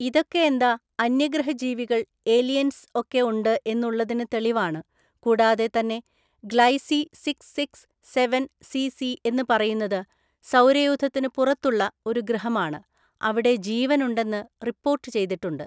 ഇതൊക്കെ എന്താ അന്യഗ്രഹജീവികള്‍ ഏലിയൻസ് ഒക്കെ ഉണ്ട് എന്ന് ഉള്ളതിന് തെളിവാണ് കൂടാതെ തന്നെ Gliese six six seven C C എന്ന് പറയുന്നത് സൗരയൂഥത്തിന് പുറത്തുള്ള ഒരു ഗ്രഹമാണ് അവിടെ ജീവനുണ്ടെന്ന് റിപ്പോർട്ട് ചെയ്തിട്ടുണ്ട്